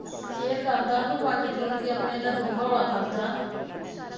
share ਕਰਦਾ ਕੋਈ ਵੰਡ ਚੁੰਡ ਕੇ ਆਪਣੇ ਇਹਦਾ ਦੁੱਖ ਹੋਲਾ ਕਰਦਾ